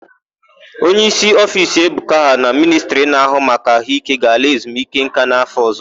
Onyeísí ofiisi Ebuka ha na Ministri na-áhụ́ maka àhụ́íké ga-ala ezumikeńká n'áfọ̀ ọ̀zọ́.